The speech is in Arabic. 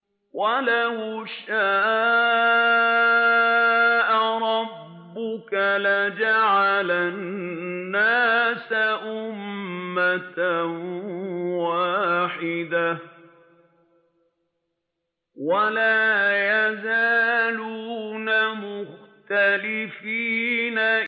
وَلَوْ شَاءَ رَبُّكَ لَجَعَلَ النَّاسَ أُمَّةً وَاحِدَةً ۖ وَلَا يَزَالُونَ مُخْتَلِفِينَ